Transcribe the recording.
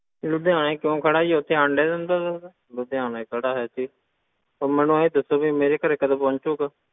ਲੁਧਿਆਣੇ ਕਿਉਂ ਖੜਾ ਜੀ ਉੱਥੇ ਅੰਡੇ ਦਿੰਦਾ ਸੀਗਾ, ਲੁਧਿਆਣੇ ਖੜਾ ਹੈ ਜੀ, ਹੁਣ ਮੈਨੂੰ ਇਉਂ ਦੱਸੋ ਵੀ ਮੇਰੇ ਘਰੇ ਕਦੋਂ ਪਹੁੰਚੇਗਾ।